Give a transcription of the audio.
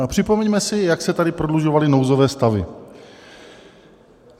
A připomeňme si, jak se tady prodlužovaly nouzové stavy.